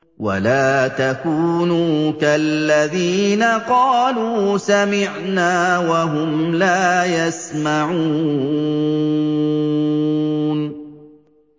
وَلَا تَكُونُوا كَالَّذِينَ قَالُوا سَمِعْنَا وَهُمْ لَا يَسْمَعُونَ